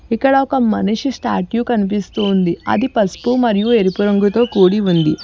ఇక్కడ ఒక మనిషి స్టాట్యూ కనిపిసస్తుంది అది పసుపు మరియు ఎరుపు రంగుతో కుడి ఉంది.